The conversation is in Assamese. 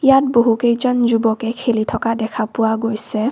ইয়াত বহু কেইজন যুৱকে খেলি থকা দেখা পোৱা গৈছে।